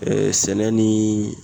sɛnɛ ni